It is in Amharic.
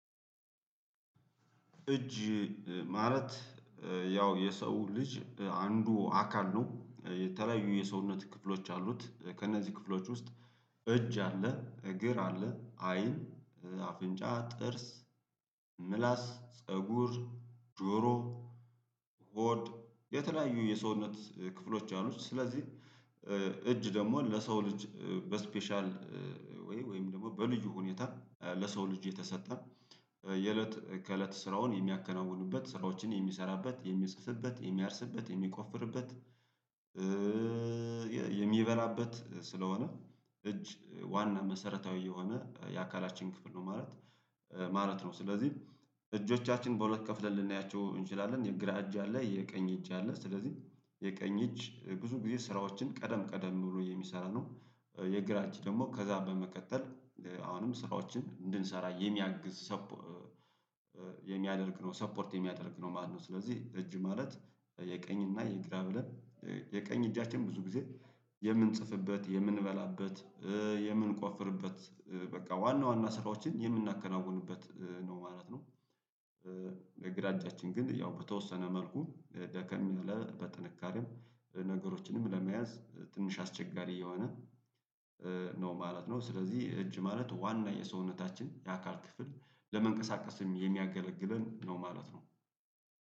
እጅ ማለት ያው የሰው ልጅ አንዱ አካል ነው የተለያዩ የሰውነት ክፍሎች አሉት ከእነዚህ ክፍሎች ውስጥ እጅ አለ እግር አለ አይን አፍን፣ ጥርስ፣ ምላስ፣ ፀጉር፣ ጆሮ ሆድ የተለያዩ የሰውነት ክፍሎች አሉት ስለዚህ እጅ ደግሞ ለሰው ልጅ በስፔሻል ወይ ወይም ደግሞ በልዩ ሁኔታ ለሰው ልጅ የተሰጠ የእለት ከእለት ስራውን የሚያከናውኑበት ስራዎችን የሚሰራበት የሚጽፍበት የሚያርስበት የሚቆፍርበት የሚበላበት ስለሆነ እጅ ዋና መሰረታዊ የሆነ የአካላችን ክፍል ነው ማለት ማለት ነው ስለዚህ እጆቻችን በሁለት ከፍለን ልናያቸው እንችላለን የግራ እጅ አለ የቀኝ እጅ አለ ስለዚህ የቀኝ እጅ ብዙ ጊዜ ስራዎችን ቀደም ቀደም ብሎ የሚሰራ ነው የግራ እጅ ደግሞ ከዛ በመቀጠል አሁንም ስራዎችን እንድንሰራ የሚያግዝ የሚያደርግ ነው ሰፖርት የሚያደርግ ነው ማለት ነው ስለዚህ እጅ ማለት የቀኝ እና የግራ ብለን የቀኝ እጃችን ብዙ ጊዜ የምንጽፍበት የምንበላበት የምንቆፍርበት በቃ ዋና ዋና ስራዎችን የምናከናውንበት ነው ማለት ነው። የግራ እጃችን ግን ያው በተወሰነ መልኩ ደከም ያለ በጥንካሬም ነገሮችንም ለመያዝ ትንሽ አስቸጋሪ የሆነ ነው ማለት ነው፤ ስለዚህ እጅ ማለት ዋና የሰውነታችን የአካል ክፍል ለመንቀሳቀስም የሚያገለግለን ነው ማለት ነው።